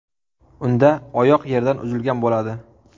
Unda oyoq yerdan uzilgan bo‘ladi.